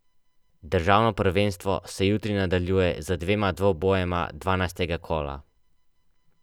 Državno prvenstvo se jutri nadaljuje z dvema dvobojema dvanajstega kola.